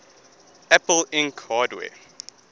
apple inc hardware